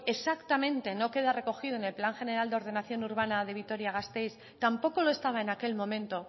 exactamente no queda recogido en el plan de ordenación urbana de vitoria gasteiz tampoco lo estaba en aquel momento